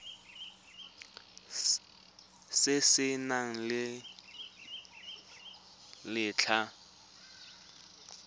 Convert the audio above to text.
se se nang le letlha